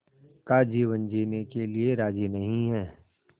का जीवन जीने के लिए राज़ी नहीं हैं